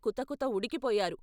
కుతకుత ఉడికిపోయారు.